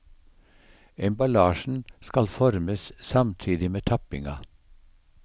Emballasjen skal formes samtidig med tappinga.